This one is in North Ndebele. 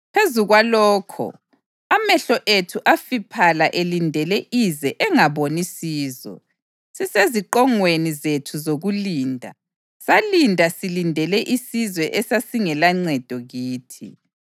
Phezu kwalokho, amehlo ethu afiphala elindele ize engaboni sizo; siseziqongweni zethu zokulinda, salinda silindele isizwe esasingelancedo kithi.